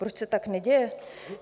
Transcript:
Proč se tak neděje?